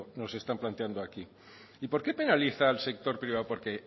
nos están planteando aquí y por qué penaliza el sector privado porque